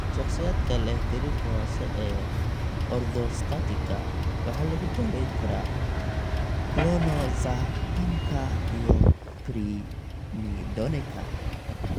Shakhsiyaadka leh gariirka hoose ee orthostatika waxaa lagu daweyn karaa clonazepamka iyo primidoneka.